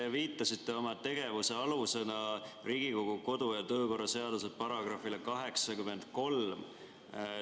Te viitasite oma tegevuse alusena Riigikogu kodu‑ ja töökorra seaduse §‑le 83.